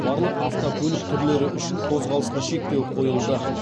барлық автокөлік түрлері үшін қозғалысқа шектеу қойылды